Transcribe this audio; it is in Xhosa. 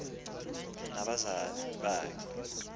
umotu nabazali bakhe